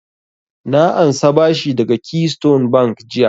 Na ansa bashi daga keystone bank jiya